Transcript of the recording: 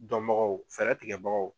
Dɔn bagaw fɛɛrɛ tigɛ bagaw